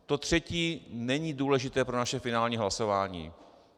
To třetí není důležité pro naše finální hlasování.